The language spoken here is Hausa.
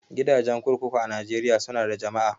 Gidajen kurkuku a Najeriya su na da jama'a